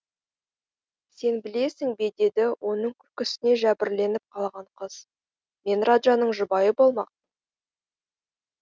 сен білесің бедеді оның күлкісіне жәбірленіп қалған қыз мен раджаның жұбайы болмақ